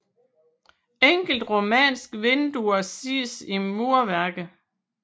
Enkelte romanske vinduer ses i murværket